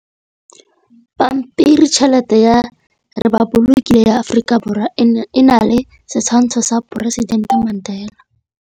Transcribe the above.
Pampiritšheletê ya Repaboliki ya Aforika Borwa e na le setshwantshô sa poresitentê Mandela.